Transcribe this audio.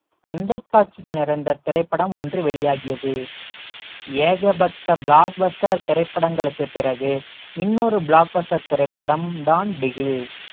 சண்டை காட்சிகள் நிறைந்த திரைப்படம் ஒன்று வெளியாகியது ஏகப்பட்ட block buster திரைப்படங்களுக்குப் பிறகு இன்னொரு block buster திரைப்படம் தான் பிகில்